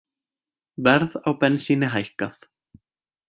Verð á bensíni hækkað